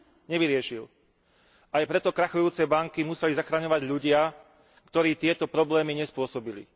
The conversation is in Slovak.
Nevyriešil. Aj preto krachujúce banky museli zachraňovať ľudia, ktorí tieto problémy nespôsobili.